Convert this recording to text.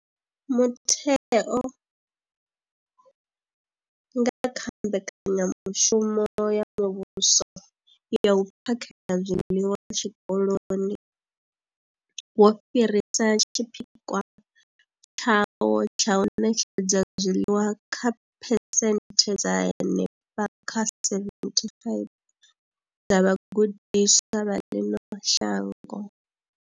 Mutheo, nga kha Mbekanya mushumo ya Muvhuso ya U phakhela zwiḽiwa Zwikoloni, wo fhirisa tshipikwa tshawo tsha u ṋetshedza zwiḽiwa kha phesenthe dza henefha kha 75 dza vhagudiswa vha ḽino shango.